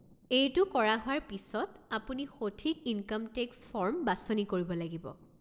এইটো কৰা হোৱাৰ পিছত, আপুনি সঠিক ইনকাম টেক্স ফৰ্ম বাছনি কৰিব লাগিব।